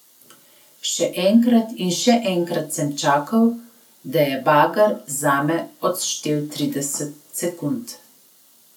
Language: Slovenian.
Še enkrat in še enkrat sem čakal, da je bager zame odštel trideset sekund.